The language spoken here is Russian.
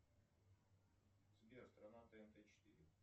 сбер страна тнт четыре